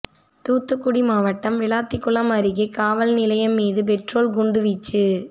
தூத்துக்குடி மாவட்டம் விளாத்திகுளம் அருகே காவல் நிலையம் மீது பெட்ரோல் குண்டுவீச்சு